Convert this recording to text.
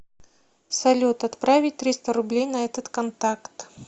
салют отправить триста рублей на этот контакт